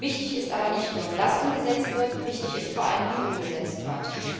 Wichtig ist aber nicht nur, dass umgesetzt wird, wichtig ist vor allem, wie umgesetzt wird.